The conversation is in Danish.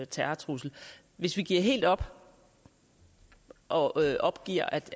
terrortrussel hvis vi giver helt op og opgiver at